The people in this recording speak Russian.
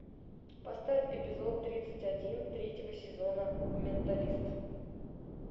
поставь эпизод тридцать один третьего сезона менталист